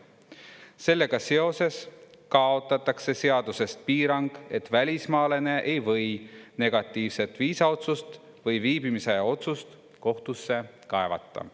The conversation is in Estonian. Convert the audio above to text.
Sellega seoses kaotatakse seadusest piirang, et välismaalane ei või negatiivset viisaotsust või viibimisaja otsust kohtusse kaevata.